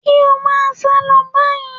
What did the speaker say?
Kí ó máa sálọ báyìí.